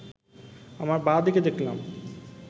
আমার বাঁ দিকে দেখলাম